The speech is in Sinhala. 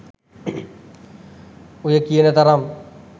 ඔය කියන තරම්